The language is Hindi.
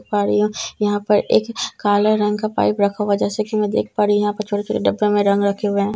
पाड़ियों यहाँ पर एक काले रंग का पाइप रखा हुआ है जैसे की मैं देख पा रही हूँ यहाँ पर छोटे-छोटे डब्बे में रंग रखे हुए हैं।